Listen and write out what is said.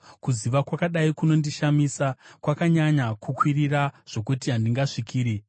Kuziva kwakadai kunondishamisa, kwakanyanya kukwirira zvokuti handingasvikiri.